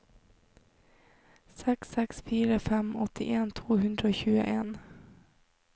seks seks fire fem åttien to hundre og tjueen